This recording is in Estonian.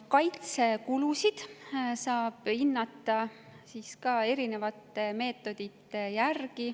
Kaitsekulusid saab hinnata erinevate meetodite järgi.